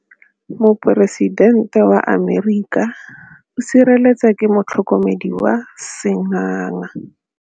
Poresitêntê wa Amerika o sireletswa ke motlhokomedi wa sengaga.